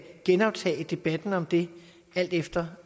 genoptage debatten om det alt efter